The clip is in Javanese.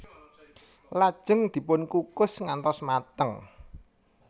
Lajeng dipun kukus ngantos mateng